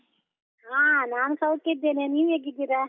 ಹಾ ನಾನ್ ಸೌಖ್ಯ ಇದ್ದೇನೆ, ನೀವ್ ಹೇಗಿದ್ದೀರಾ?